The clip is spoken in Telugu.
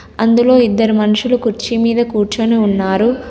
అందులో ఇద్దరు మనుషులు కుర్చీ మీద కూర్చొని ఉన్నారు.